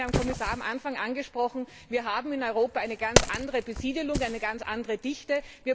Es wurde vom Herrn Kommissar am Anfang angesprochen Wir haben in Europa eine ganz andere Besiedelung, eine ganz andere Bevölkerungsdichte.